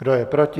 Kdo je proti?